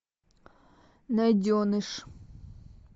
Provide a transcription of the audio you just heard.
найденыш